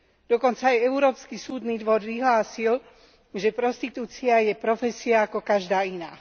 Dokonca aj Európsky súdny dvor vyhlásil, že prostitúcia je profesia ako každá iná.